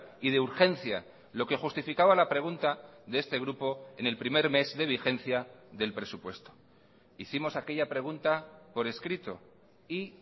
y de urgencia lo que justificaba la pregunta de este grupo en el primer mes de vigencia del presupuesto hicimos aquella pregunta por escrito y